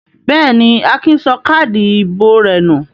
Bẹ́ẹ̀ ni, Akin sọ káádì ìbò rẹ̀ nù.